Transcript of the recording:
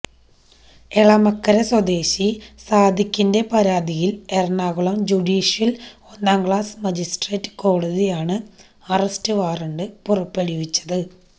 എളമക്കര സ്വദേശി സാദിഖിന്റെ പരാതിയില് എറണാകുളം ജുഡീഷ്യല് ഒന്നാം ക്ലാസ് മജിസ്ട്രേറ്റ് കോടതിയാണ് അറസ്റ്റ് വാറണ്ട് പുറപ്പെടുവിച്ചത്